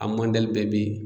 A mɔdɛli bɛɛ be yen